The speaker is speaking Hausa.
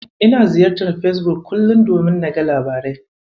Ina ziyartar Fesbuk kullum domin naga labarai.